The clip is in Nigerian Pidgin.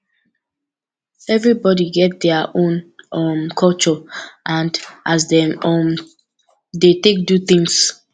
everybody get dia own um culture and as dem um dey take do things